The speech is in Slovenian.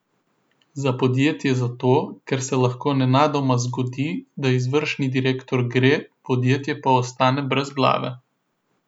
Za podjetje zato, ker se lahko nenadoma zgodi, da izvršni direktor gre, podjetje pa ostane brez glave.